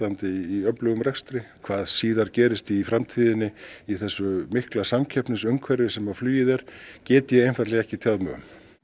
í öflugum rekstri hvað síðar gerist í framtíðinni í þessu mikla samkeppnisumhverfi sem flugið er get ég einfaldlega ekki tjáð mig um